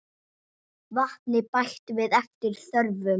Vatni bætt við eftir þörfum.